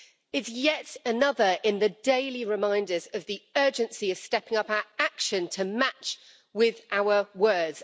It's yet another in the daily reminders of the urgency of stepping up our action to match with our words.